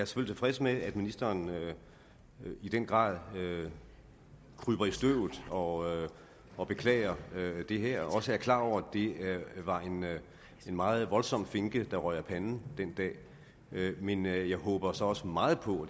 tilfreds med at ministeren i den grad kryber i støvet og og beklager det her og også er klar over at det var en meget voldsom finke der røg af panden den dag men jeg jeg håber så også meget på